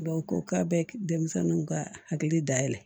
ko k'a bɛ denmisɛnninw ka hakili dayɛlɛ